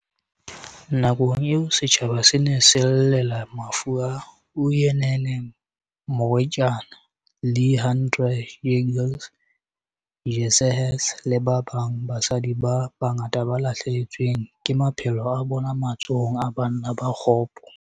Nakong eo setjhaba se ne se llela mafu a Uyinene Mrwetyana, Leighandre Jegels, Jesse Hess le ba babang ba basadi ba bangata ba lahlehetsweng ke maphelo a bona matsohong a banna ba kgopo.